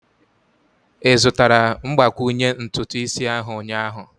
Ị zụtara mgbakwunye ntutu isi ahu ụnyaahụ?